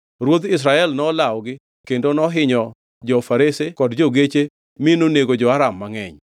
Ruodh Israel nolawogi kendo nohinyo jo-farese kod jo-geche mi nonego jo-Aram mangʼeny.